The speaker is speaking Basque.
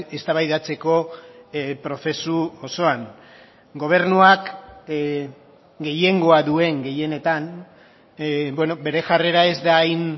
eztabaidatzeko prozesu osoan gobernuak gehiengoa duen gehienetan bere jarrera ez da hain